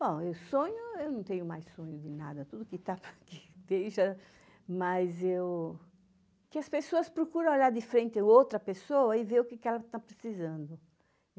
Bom, eu sonho, eu não tenho mais sonho de nada, tudo que está aqui deixa, mas eu... Que as pessoas procuram olhar de frente a outra pessoa e ver o que ela está precisando.